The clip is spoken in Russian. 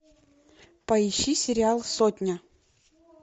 поищи сериал сотня